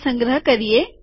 તે સંગ્રહ કરીએ